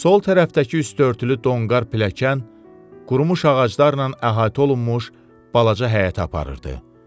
Sol tərəfdəki üstörtülü donqar pilləkən qurumuş ağaclarla əhatə olunmuş balaca həyətə aparırdı.